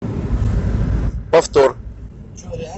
повтор